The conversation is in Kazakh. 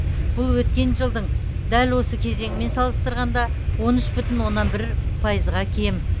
бұл өткен жылдың дәл осы кезеңімен салыстырғанда он үш бүтін онанн бір пайызға кем